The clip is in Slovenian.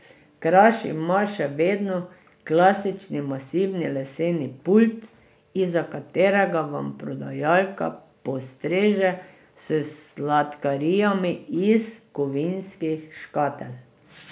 Kraš ima še vedno klasični, masivni leseni pult, izza katerega vam prodajalka postreže s sladkarijami iz kovinskih škatel.